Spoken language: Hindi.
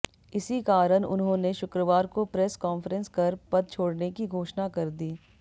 इसी कारण उन्होंने शुक्रवार को प्रेस कॉन्फ्रेंस कर पद छोड़ने की घोषणा कर दी